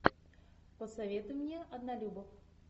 посоветуй мне однолюбов